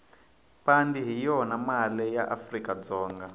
pandi hhiyona male yaafrikadzonga